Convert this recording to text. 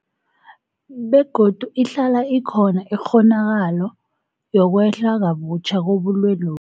Begodu ihlala ikhona ikghonakalo yokwehla kabutjha kobulwelobu.